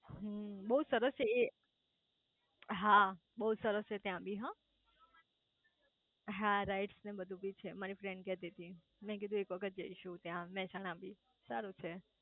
હમ્મ બઉ સરસ છે એ હા બઉ સરસ છે ત્યાં બી હ હા રાઈસ ને બહુ બી છે મારી ફ્રેન્ડ કેતી તી મેં કીધું એક વખત જઈશું ત્યાં મેહસાણા બી સારું છે